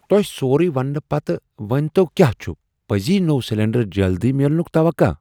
تۄہِہ سورُے وننہٕ پتہٕ ؤنۍتَو کیاہ چُھ پٔزی نوٚو سلینڈر جلدی میلنُک توقع۔